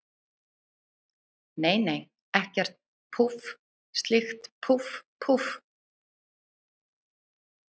Nei, nei, ekkert, púff, slíkt, púff, púff.